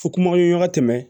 Fo kuma ye ɲɔgɔn tɛmɛ